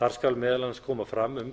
þar skal meðal annars koma fram um